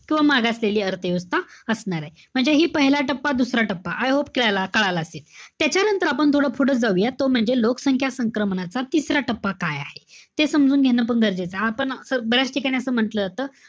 किंवा मागासलेली अर्थव्यवस्था असणारे. म्हणजे हि पहिला टप्पा, दुसरा टप्पा. I hope कला~ कळालं असेल. त्याच्यानंतर आपण थोडं पुढं जाऊयात. तो म्हणजे लोकसंख्या संक्रमणाचा तिसरा टप्पा काय आहे. ते समजून घेणं पण गरजेचंय. आपण असं बऱ्याच ठिकाणी असं म्हंटल जात,